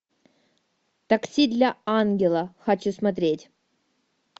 такси для ангела хочу смотреть